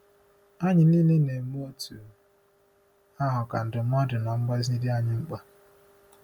Anyị niile na-eme otú ahụ ka ndụmọdụ na mgbazi dị anyị mkpa.